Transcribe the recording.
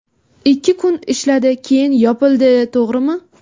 Ikki kun ishladi, keyin yopildi, to‘g‘rimi?